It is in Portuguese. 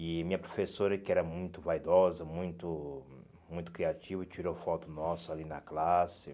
E minha professora, que era muito vaidosa, muito muito criativa, tirou foto nossa ali na classe.